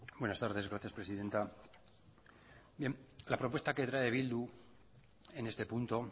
buenas tardes gracias presidenta bien la propuesta que trae bildu en este punto